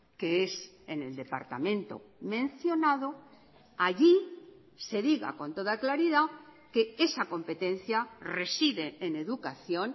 que es en el departamento mencionado allí se diga con toda claridad que esa competencia reside en educación